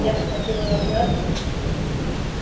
я схватил её за руку